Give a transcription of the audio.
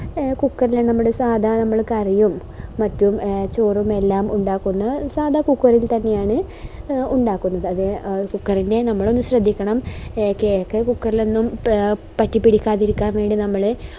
A cooker നമ്മള് സാദാ നമ്മളെ കറിയും മറ്റും ചോറും എല്ലാം ഉണ്ടാക്കുന്ന ഓരു സാദാ cooker ഇൽ തന്നെയാണ് ഉണ്ടാക്കുന്നത് അത് cooker ല് നമ്മള് ശ്രെദ്ധിക്കണം cake cooker ഇൽ ഒന്നും പറ്റിപ്പിടിക്കാതിരിക്കാൻ വേണ്ടി നമ്മള്